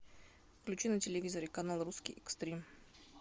включи на телевизоре канал русский экстрим